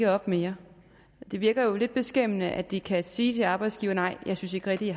op mere det virker jo lidt beskæmmende at de kan sige til arbejdsgiveren nej jeg synes ikke rigtig